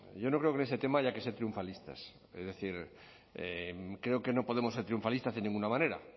yo no creo que en este tema haya que se triunfalistas es decir creo que no podemos ser triunfalistas de ninguna manera